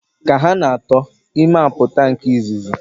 Ka ha na-ato, ime apụta nke izizi.